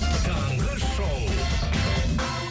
таңғы шоу